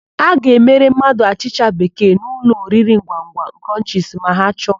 A ga-emere mmadụ achịcha bekee n'ụlọoriringwangwa Krọnchisi ma ha chọọ.